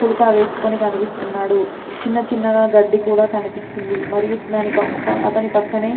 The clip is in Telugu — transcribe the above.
కుర్తా వెస్కొని కనిపిస్తున్నాడు చిన్న చిన్న గ గడ్డి కూడా కనిపిస్తుంది మరియు దాని అతని పక్కనే --